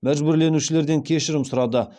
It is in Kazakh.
мәжбірленушілерден кешірім сұрады